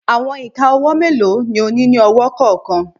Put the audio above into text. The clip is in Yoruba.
Awọn ika ọwọ melo ni o ni ni ọwọ kọọkan?